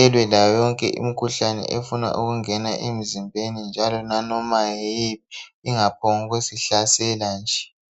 elwe layoyonke imikhuhlane efuna ukungena emzimbeni njalo laloba yiyiphi ingasihlaseli nje kalula.